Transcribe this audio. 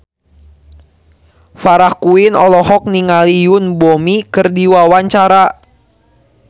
Farah Quinn olohok ningali Yoon Bomi keur diwawancara